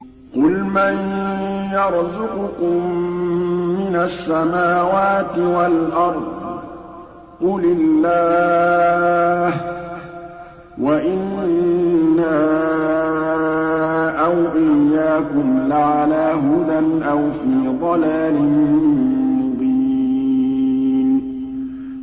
۞ قُلْ مَن يَرْزُقُكُم مِّنَ السَّمَاوَاتِ وَالْأَرْضِ ۖ قُلِ اللَّهُ ۖ وَإِنَّا أَوْ إِيَّاكُمْ لَعَلَىٰ هُدًى أَوْ فِي ضَلَالٍ مُّبِينٍ